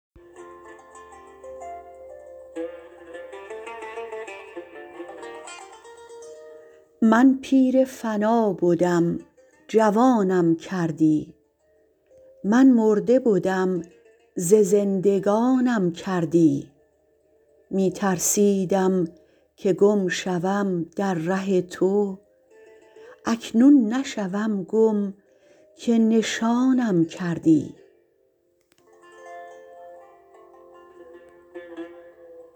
من پیر فنا بدم جوانم کردی من مرده بدم ز زندگانم کردی می ترسیدم که گم شوم در ره تو اکنون نشوم گم که نشانم کردی